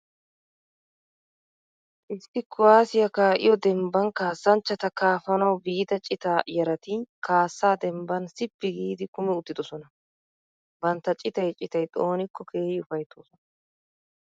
Issi kuwaasiya kaa'iyo dembban kaassanchchata kaafanawu biida citaa yarati kaassaa dembban sippi giidi kumi uttidosona. Bantta citay citay xoonikko keehi ufayttoosona.